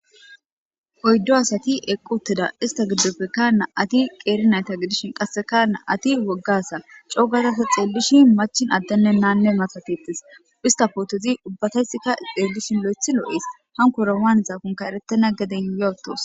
oyddo asati eqqotteda ista giddofe kana ati qeerinayta gidishin qassekana ati woggasa coogazasa xeellishi machin addenne naanne matatettes ista pootezi ubbatayssikka xeellishin lo7ethi loo7ees hankora waan zaakonka eretena geden yoytos